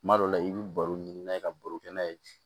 Kuma dɔ la i bɛ baro ɲini n'a ye ka baro kɛ n'a ye